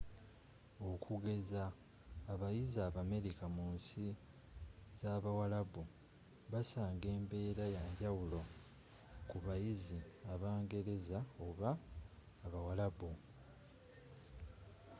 okugezza abayizi abamerika mu nsi z'abuwalabbu bassanga embbera yanjawulo ku bayizi abangereza oba abawarabbu